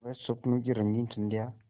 वह स्वप्नों की रंगीन संध्या